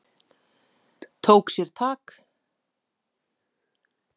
Tók sér tak.